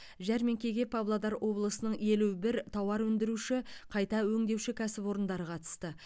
жәрмеңкеге павлодар облысының елу бір тауар өндіруші қайта өңдеуші кәсіпорындары қатысты